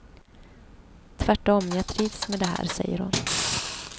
Tvärtom, jag trivs med det här, säger hon.